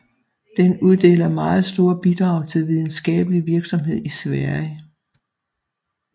Den uddeler meget store bidrag til videnskabelig virksomhed i Sverige